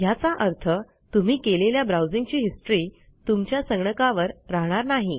ह्याचा अर्थ तुम्ही केलेल्या ब्राऊजिंगची हिस्ट्री तुमच्या संगणकावर राहणार नाही